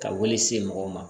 Ka wele se mɔgɔw ma